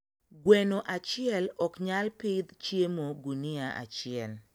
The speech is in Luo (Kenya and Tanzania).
gweno achiel oknyal pidh chiemo gunia achiel